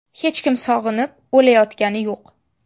Hech kim sog‘inib, o‘layotgani yo‘q.